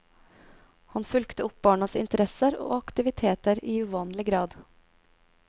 Han fulgte opp barnas interesser og aktiviteter i uvanlig grad.